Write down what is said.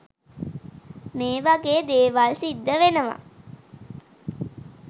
මේ වගේ දේවල් සිද්ධ වෙනවා.